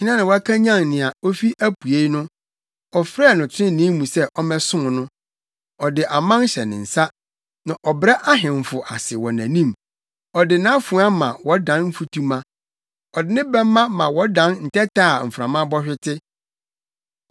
“Hena na wakanyan nea ofi apuei no, afrɛ no trenee mu sɛ ɔmmɛsom no? Ɔde aman hyɛ ne nsa na ɔbrɛ ahemfo ase wɔ nʼanim. Ɔde nʼafoa ma wɔdan mfutuma, ɔde ne bɛmma ma wɔdan ntɛtɛ a mframa bɔ hwete.